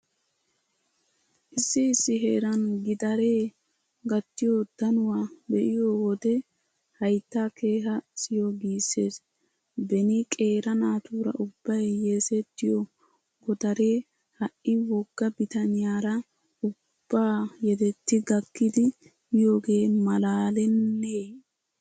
Issi issi heeran gidaree gattiyo danuwa be'iyo wode hayttay kehaa siyo giissees. Beni qeera naatuura ubbay yesettiyo godaree ha"i wogga bitaniyara ubbaa yedetti gakkidi miyogee maalaalennee?